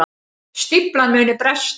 Stíflan muni bresta